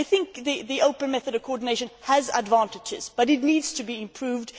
I think the open method of coordination has advantages but it needs to be improved.